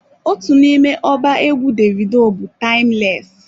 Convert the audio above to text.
Otu n'ime ọba egwu Davido bụ "Timeless"